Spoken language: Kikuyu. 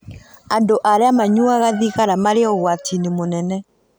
Andũ arĩa manyuaga thigara marĩ ũgwati-inĩ mũnene.